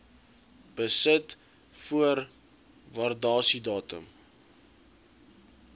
besit voor waardasiedatum